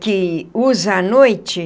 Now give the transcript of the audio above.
Que usa à noite.